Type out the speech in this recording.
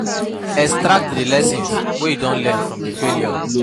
Extract di lessons wey you don learn from di failure